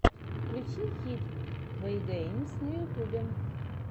включи хид вэйгеймс на ютьюбе